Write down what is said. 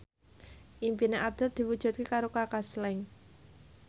impine Abdul diwujudke karo Kaka Slank